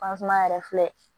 yɛrɛ filɛ